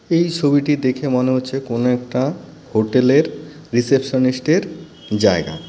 এই ছবিটি দেখে মনে হচ্ছে কোন একটা হোটেলের রিসেপশনিস্টের জায়গা.